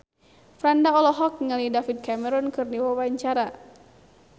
Franda olohok ningali David Cameron keur diwawancara